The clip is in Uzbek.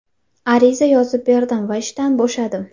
Ariza yozib berdim va ishdan bo‘shadim.